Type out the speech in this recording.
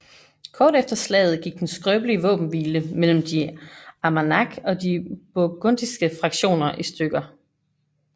Kort efter slaget gik den skrøbelige våbenhvile mellem de Armagnac og de burgundiske fraktioner i stykker